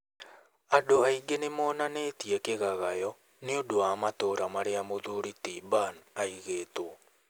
Andũ aingĩ nĩ nimonanetie kigagayo ni undu wa matora maria muthuri ti Ban aigitwo